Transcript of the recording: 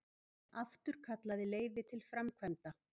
Afturkallaði leyfi til framkvæmda